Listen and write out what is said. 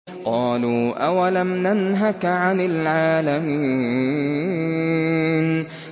قَالُوا أَوَلَمْ نَنْهَكَ عَنِ الْعَالَمِينَ